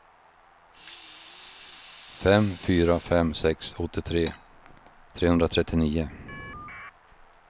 fem fyra fem sex åttiotre trehundratrettionio